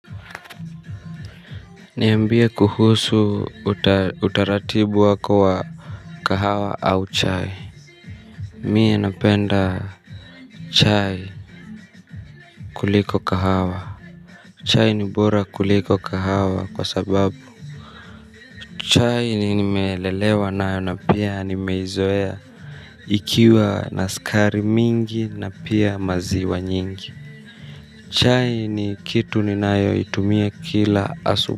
Niambie kuhusu utaratibu wako wa kahawa au chai mie napenda chai kuliko kahawa chai ni bora kuliko kahawa kwa sababu chai nimelelewa nayo na pia nimezoea ikiwa na skari mingi na pia maziwa nyingi chai ni kitu ninayo itumia kila asubuhi.